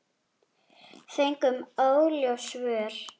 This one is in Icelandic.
Fengum óljós svör.